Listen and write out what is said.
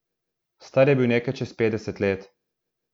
Star je bil nekaj čez petdeset let.